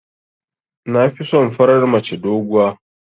Nafison farar mace doguwa.